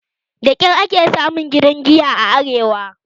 Da kyar kake samun w gidan giya a arewa